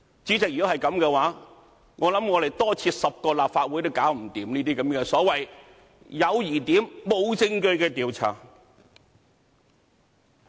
主席，如果是這樣，相信我們多設10個立法會，也無法應付這些所謂"有疑點，無證據"的調查。